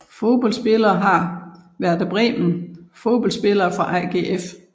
Fodboldspillere fra Werder Bremen Fodboldspillere fra AGF